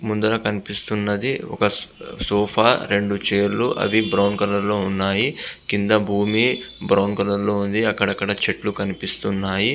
ముందర కనిపిస్తున్నది. ఒక సోఫా రెండు చైర్స్ అవి బ్రౌన్ కలర్ లో ఉన్నాయి. క్రింద భూమి బ్రౌన్ కలర్ లో ఉంది. అక్కడక్కడ చెట్లు కనిపిస్తున్నాయి.